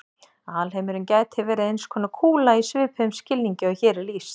Alheimurinn gæti verið eins konar kúla í svipuðum skilningi og hér er lýst.